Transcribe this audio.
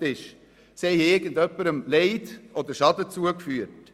Diese Leute haben jemandem Schaden zugefügt.